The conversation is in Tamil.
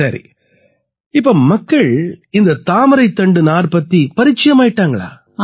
சரி இப்ப மக்கள் இந்த தாமரைத்தண்டு நார் பத்தி பரிச்சயமாயிட்டாங்களா